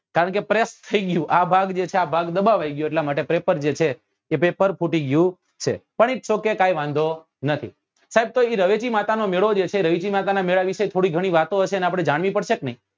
કારણ કે થયી ગયું આ ભાગ જે છે એ ભાગ દબાવાય ગયો એટલા માટે જે પેપર જે છે એ પેપર ફૂટી ગયું છે પણ its ok કઈ વાંધો નથી સાહેબ તો એ રવેચી માતા નો મેળો જે છે એ રવેચી માતા ના મેળા વિશે થોડી ગણી વાતો હશે એને આપડે જાણવી પડશે કે નઈ